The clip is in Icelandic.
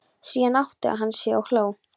Síðan áttaði hann sig og hló.